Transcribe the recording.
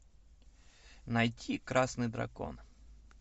найти красный дракон